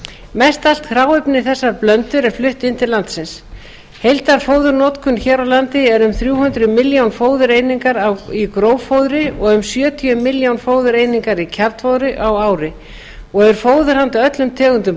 mest allt hráefni í þessar blöndur er flutt inn til landsins heildarfóðurnotkun hér á landi er um þrjú hundruð milljón fóðureiningar í gróffóðri og um sjötíu milljón fóðureiningar í kjarnfóðri á ári og er fóður handa öllum tegundum